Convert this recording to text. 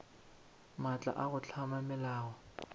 maatla a go hlama melao